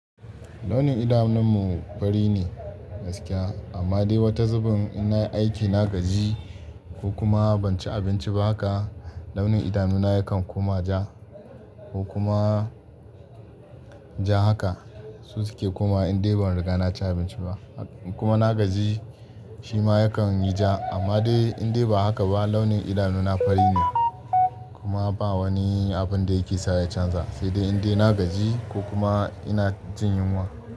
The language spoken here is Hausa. Launin idanunmu fari ne gaskiya amma dai wata zuben in nayi aiki na gaji ko kuma ban ci abinci ba haka launin idanuna yakan kuma ja ko kuma ja haka. Su suke kuma in dai ban riga na ci abinci ba kuma na gaji shi ma yakan yi ja amma dai in dai ba haka ba launin idanuna fari ne kuma ba wani abun da yake sa ya canza sai dai in dai na gaji ko kuma ina jin yunwa.